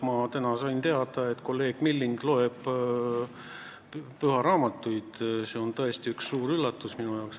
Ma sain täna teada, et kolleeg Milling loeb pühasid raamatuid – see on mulle tõesti suur üllatus.